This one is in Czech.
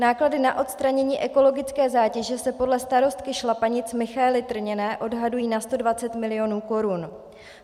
Náklady na odstranění ekologické zátěže se podle starostky Šlapanic Michaely Trněné odhadují na 120 milionů korun.